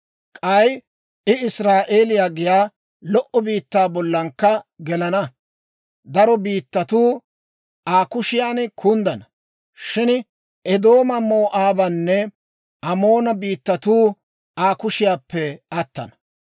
K'ay I Israa'eeliyaa giyaa lo"o biittaa bollankka gelana. Daro biittatuu Aa kushiyan kunddana; shin Eedooma, Moo'aabanne Amoona biittatuu Aa kushiyaappe attana.